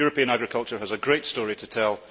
European agriculture has a great story to tell.